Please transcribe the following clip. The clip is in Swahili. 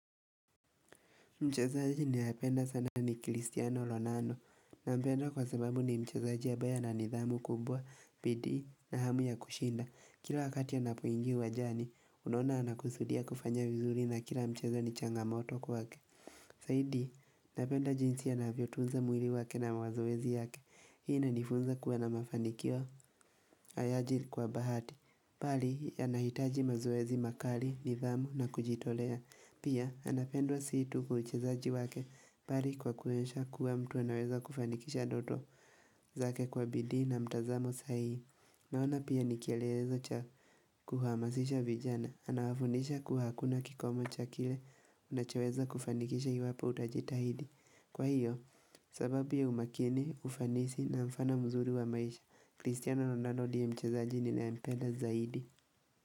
Mchezaji ninayependa sana ni kristiano lonano na mpenda kwa sababu ni mchazaji ya baya na nidhamu kumbwa, pidi na hamu ya kushinda. Kilo wakati anapoingia uwanjani, unaona anakusudia kufanya vizuri na kila mchazo ni changamoto kwa ke. Saidi, napenda jinsi ya naviotunza mwili wake na mawazoezi yake. Hii na nifunza kuwa na mafanikio hayaji kwa bahati. Pari, anahitaji mazoezi makali, nithamu na kujitolea. Pia, anapendwa situ kuchezaji wake pari kwa kuensha kuwa mtu anaweza kufanikisha doto zake kwa bidi na mtazamo sahii. Naona pia nikielezo cha kuhamasisha vijana. Anawafunisha kuhakuna kikomo cha kile unachaweza kufanikisha hiwapo utajitahidi. Kwa hiyo, sababu ya umakini, ufanisi na mfano mzuri wa maisha cristiano ronaldo ndiye mchezaji ninayempenda vizuri.